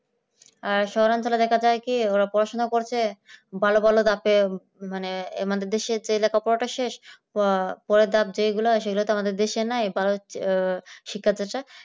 আর শহরাঞ্চলে দেখা যায় কি ওরা পড়াশোনা করছে ভালো ভালো যাতে মানে আমাদের দেশের যে লেখাপড়াটা শেষ বা পরের ধাপ যেগুলা সেগুলোকে আমাদের দেশে নাই শিক্ষাটা